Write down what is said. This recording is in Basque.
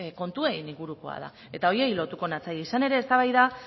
kontuei inguruko da eta horiei lotuko natzaie izan ere eztabaida